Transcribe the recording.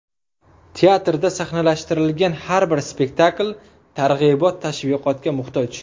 Teatrda sahnalashtirilgan har bir spektakl targ‘ibot-tashviqotga muhtoj.